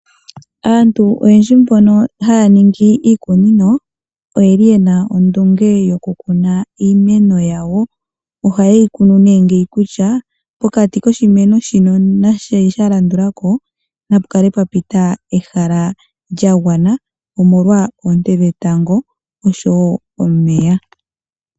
Aantu oyendji mbono haya ningi iikunino oyeli ye na ondunge yokukuna iimeno yawo. Ohaye yi kunu ne ngeyi kutya pokati koshimeno shino nashi sha landulako na pukale pwa pita ehala lya gwana omolwa oonte dhetango oshowo omeya.